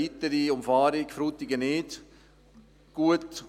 Da tut eine Umfahrung von Frutigen nicht gut.